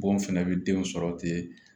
Bon fɛnɛ bɛ den sɔrɔ ten